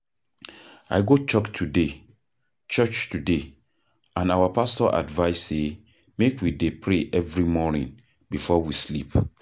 I go church today church today and our pastor advice say make we dey pray every morning before we sleep.